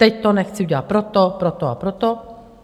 Teď to nechci udělat proto, proto a proto.